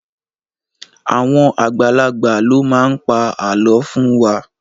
Àwọn àgbàlagbà ló máa pa àlọ́ fún wa.